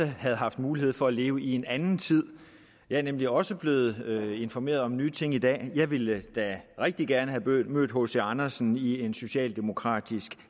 havde haft mulighed for at leve i en anden tid jeg er nemlig også blevet informeret om nye ting i dag jeg ville da rigtig gerne have mødt mødt hc andersen i en socialdemokratisk